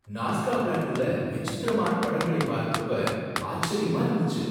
நாஸ்கா பிளாட்டூல விசித்திரமான படங்களை பார்த்தப்ப ஆச்சரியமா இருந்துச்சு.